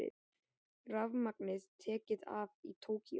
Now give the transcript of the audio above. Rafmagn tekið af í Tókýó